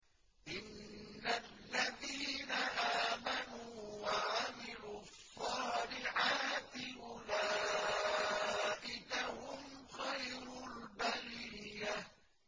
إِنَّ الَّذِينَ آمَنُوا وَعَمِلُوا الصَّالِحَاتِ أُولَٰئِكَ هُمْ خَيْرُ الْبَرِيَّةِ